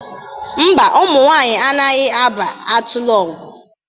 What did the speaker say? Ḿbà, ụmụ nwaanyị anaghị aba Atịlọgwụ.